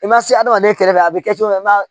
I ma se adamaden kɛrɛfɛ a bɛ kɛ cogo min na